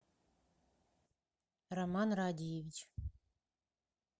роман радиевич